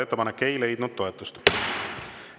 Ettepanek ei leidnud toetust.